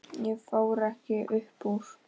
Ég fór ekkert upp úr.